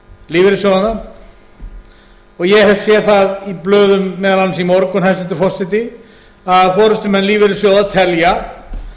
lífeyrissjóðanna ég hef séð það í blöðum meðal annars í morgun hæstvirtur forseti að forustumenn lífeyrissjóða telja